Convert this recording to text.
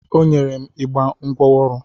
O nyere m igbe ngwa ọrụ.